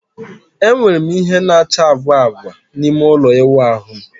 Enwere m ìhè na-acha agwa agwa n'ime ụlọ ịwụ ahu m.